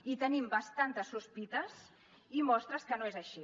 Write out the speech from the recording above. i tenim bastantes sospites i mostres que no és així